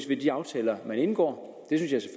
ved de aftaler man indgår